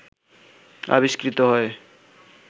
আবিস্কৃত হয়